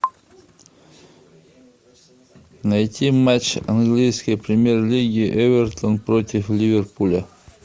найти матч английской премьер лиги эвертон против ливерпуля